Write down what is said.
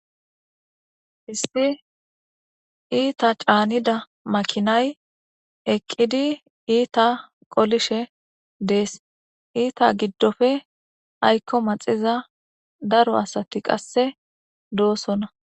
Issi ita canida makinay eqidi ita qolishe dees ita gidope ayko maxiza daro asati qase dosona.